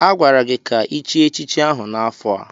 Agwara gị ka ichie echichi ahụ n'afọ a!